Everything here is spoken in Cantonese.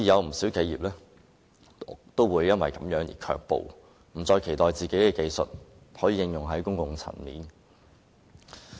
不少企業因而卻步，不再期待自己的技術可應用於公共層面。